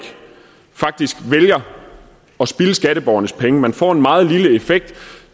faktisk vælger at spilde skatteborgernes penge man får en meget lille effekt